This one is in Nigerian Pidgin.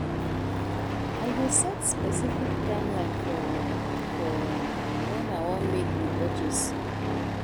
I dey set specific timeline for for wen I wan make the purchase.